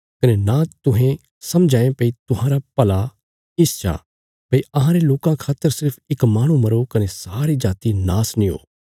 कने नां तुहें समझा ये भई तुहांरा भला इस चा भई अहांरे लोकां खातर सिर्फ इक माहणु मरो कने सारी जाति नाश नीं हो